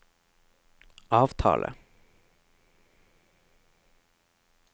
avtale